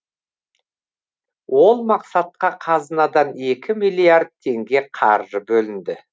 ол мақсатқа қазынадан екі миллиард теңге қаржы бөлінді